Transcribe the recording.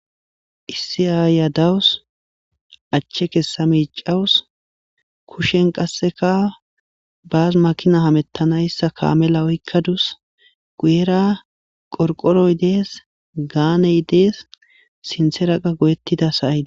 Issi ayiya dawusi, ache kesa micawusi. Kushen qaseka bas makina hametanaysa kamela oykadusi. Guyera qorpqoroy Des, gaaney Des, sinthera qasi goyetida sa'ay Des,